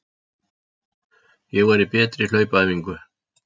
Ég var í betri hlaupaæfingu.